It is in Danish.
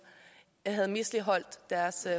havde misligholdt deres